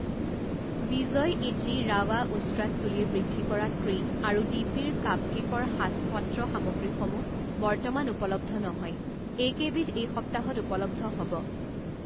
বিজয় ইদলী ৰাৱা উষ্ট্ৰা চুলিৰ বৃদ্ধি কৰা ক্ৰীম আৰু ডিপি-ৰ কাপকেকৰ সাঁচ পাত্ৰ সামগ্ৰীসমূহ বৰ্তমান উপলব্ধ নহয় এইকেইবিধ এই সপ্তাহত উপলব্ধ হ'ব।